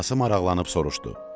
Atası maraqlanıb soruşdu: